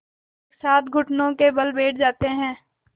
एक साथ घुटनों के बल बैठ जाते हैं